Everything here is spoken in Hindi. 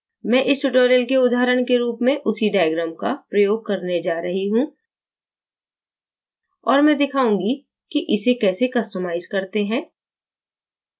मैं इस tutorial के उदाहरण के रूप में उसी diagram का प्रयोग करने जा रही how और मैं दिखाऊँगी कि इसे कैसे customize करते हैं